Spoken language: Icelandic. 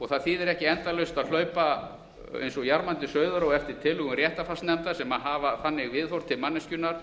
það þýðir ekki endalaust að hlaupa eins og jarmandi sauður á eftir tillögum réttarfarsnefndar sem hafa þannig viðhorf til manneskjunnar